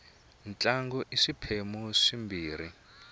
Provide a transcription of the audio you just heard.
ntlangu i swiphemu swimbirhi